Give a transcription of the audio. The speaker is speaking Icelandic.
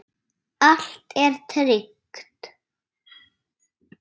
Allt er tryggt.